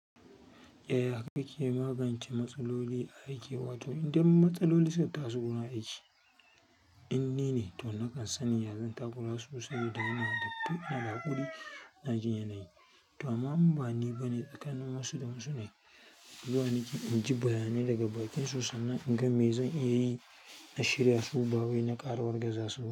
Eh, haka ke magance matsaloli aiki. Wato idan matsaloli suka taso gurin aiki, in ni ne to nakan sani yanzu in takura su saboda ina da fi'il na haƙuri. Na ji yanayi, to amma bani ba ne tsakanin wasu da wasu ne. Zuwa nake inji bayanai daga bakinsu sannan in ga me zan iya yi na shairya su. Bawai na ƙara wargaza su.